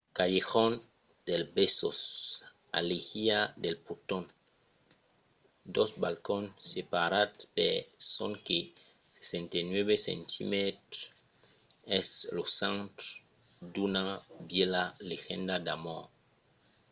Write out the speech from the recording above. callejón del besos alèia del poton. dos balcons separats per sonque 69 centimètres es lo centre d'una vièlha legenda d'amor